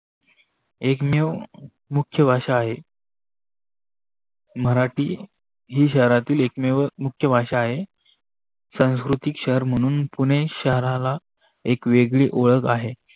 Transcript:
एकमेव मुख्य भाषा आहे. मराठी ही शहरातील एक मुख्य भाषा आहे. सांस्कृतिक शहर मानून पुणे शहराला एक वेगळी ओळख आहे.